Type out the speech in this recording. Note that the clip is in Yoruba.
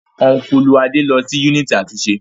Ọ́nkùlù Adé lọ sí yúnìtì àtúnṣe